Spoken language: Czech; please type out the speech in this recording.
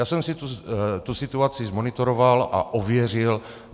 Já jsem si tu situaci zmonitoroval a ověřil.